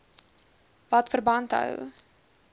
wat verband hou